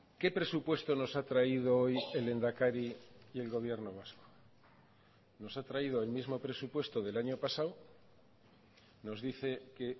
qué presupuesto nos ha traído hoy el lehendakari y el gobierno vasco nos ha traído el mismo presupuesto del año pasado nos dice que